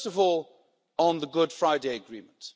First of all, on the Good Friday Agreement.